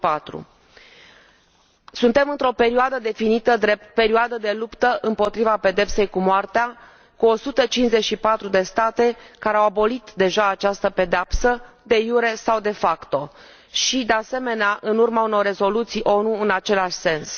2004. Suntem într o perioadă definită drept perioadă de luptă împotriva pedepsei cu moartea, cu 154 de state care au abolit deja această pedeapsă, de jure sau de facto și, de asemenea, în urma unor rezoluții ONU în același sens.